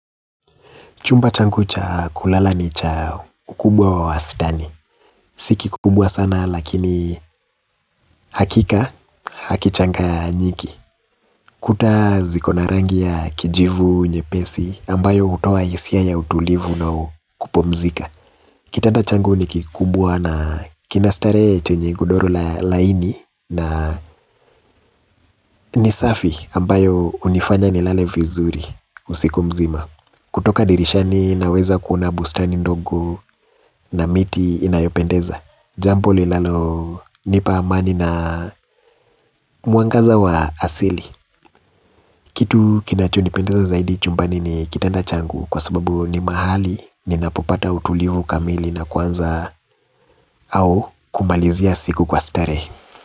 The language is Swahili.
Chumba changu cha kulala ni cha ukubwa wa wastani. Si kikubwa sana lakini hakika hakichanganyiki. Kuta zikona rangi ya kijivu nyepesi ambayo utoa isia ya utulivu na kupumzika. Kitanda changu ni kikubwa na kinastare chenye godoro laini na nisafi ambayo unifanya nilale vizuri usiku mzima. Kutoka dirishani naweza kuona bustani ndogo na miti inayopendeza. Jampo lilalonipa amani na muangaza wa asili. Kitu kinachonipendeza zaidi chumbani ni kitanda changu kwa sababu ni mahali ni napopata utulivu kamili na kwanza au kumalizia siku kwa starehe.